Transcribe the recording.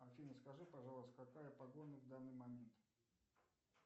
афина скажи пожалуйста какая погода в данный момент